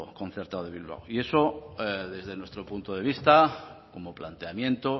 concertado de bilbao y eso desde nuestro punto de vista como planteamiento